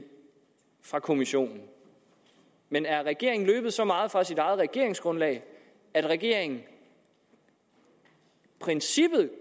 fra kommissionen men er regeringen så så meget fra sit eget regeringsgrundlag at regeringen i princippet